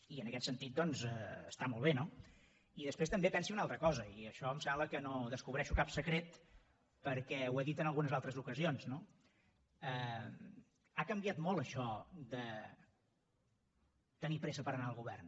i en aquest sentit doncs està molt bé no i després també pensi una altra cosa i amb això em sembla que no descobreixo cap secret perquè ho he dit en algunes altres ocasions ha canviat molt això de tenir pressa per anar al govern